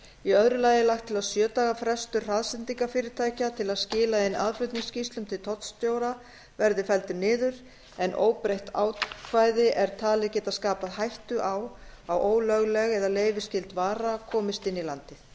í öðru lagi er lagt til að sjö daga frestur hraðsendingafyrirtæka til að skila inn aðflutningsskýrslum til tollstjóra verði felldur niður en óbreytt ákvæði er talið geta skapað hættu á að ólögleg eða leyfisskyld vara komist inn í landið